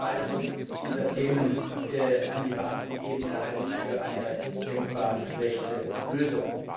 Eine Rückverweisung dieser Themen auf die Beamtenebene halte ich für eine denkbar schlechte Lösung!